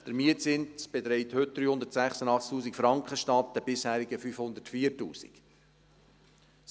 Der Mietzins beträgt heute 386’000 Franken statt den bisherigen 504’000 Franken.